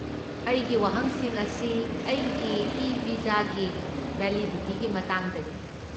ꯑꯩꯒꯤ ꯋꯥꯍꯪꯁꯤꯡ ꯑꯁꯤ ꯑꯩꯒꯤ ꯏ ꯚꯤꯖꯥꯒꯤ ꯚꯦꯂꯤꯗꯤꯇꯤꯒꯤ ꯃꯇꯥꯡꯗꯅꯤ꯫